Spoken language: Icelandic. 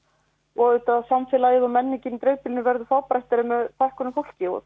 og samfélagið og menningin í dreifbýlinu verður fábreyttari með fækkun á fólki og